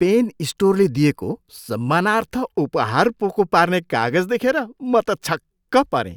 Pain स्टोरले दिएको सम्मानार्थ उपहार पोको पार्ने कागज देखेर म त छक्क परेँ।